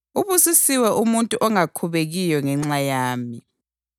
Ubusisiwe umuntu ongakhubekiyo ngenxa yami.”